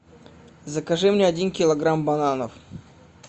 закажи мне один килограмм бананов